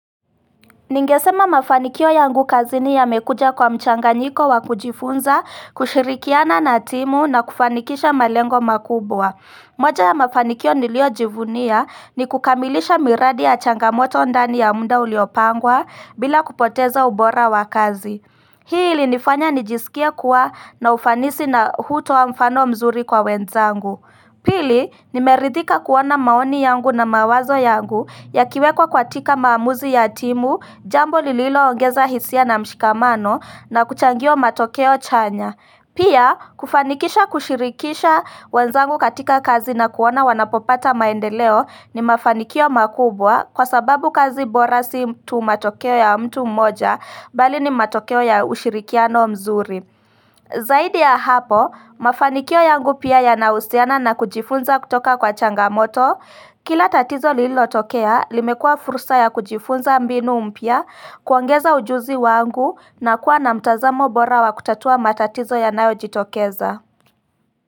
Ningesema mafanikio yangu kazini yamekuja kwa mchanganyiko wa kujifunza kushirikiana na timu na kufanikisha malengo makubwa moja ya mafanikio nilio jivunia ni kukamilisha miradi ya changamoto ndani ya muda uliopangwa bila kupoteza ubora wakazi Hii ili nifanya nijisikie kuwa na ufanisi na hutoa mfano mzuri kwa wenzangu Pili, nimeridhika kuona maoni yangu na mawazo yangu yakiwekwa kwatika maamuzi ya timu, jambo lililo ongeza hisia na mshikamano na kuchangia matokeo chanya. Pia, kufanikisha kushirikisha wanzangu katika kazi na kuona wanapopata maendeleo ni mafanikio makubwa kwa sababu kazi bora si tu matokeo ya mtu mmoja bali ni matokeo ya ushirikiano mzuri. Zaidi ya hapo, mafanikio yangu pia yanahusiana na kujifunza kutoka kwa changamoto Kila tatizo lililo tokea, limekua fursa ya kujifunza mbinu mpya kuongeza ujuzi wangu na kuwa na mtazamo bora wa kutatua matatizo yanayo jitokeza.